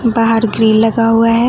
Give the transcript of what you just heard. बाहर ग्रिल लगा हुआ है।